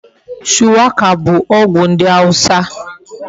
Shuwaka bu ogwu ndi awusa